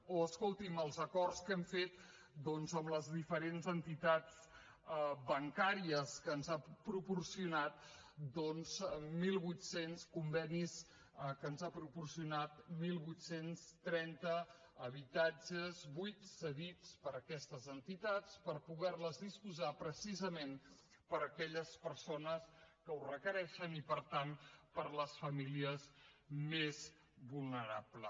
o escolti’m els acords que hem fet doncs amb les diferents entitats bancàries que ens han proporcionat mil vuit cents convenis que ens han proporcionat divuit trenta habitatges buits cedits per aquestes entitats per poder ne disposar precisament per a aquelles persones que ho requereixen i per tant per a les famílies més vulnerables